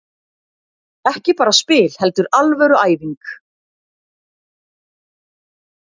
Ekki bara spil heldur alvöru æfing.